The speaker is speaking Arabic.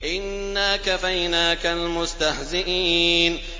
إِنَّا كَفَيْنَاكَ الْمُسْتَهْزِئِينَ